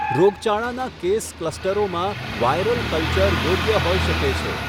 રોગચાળાના કેસ ક્લસ્ટરોમાં viral culture યોગ્ય હોઈ શકે છે.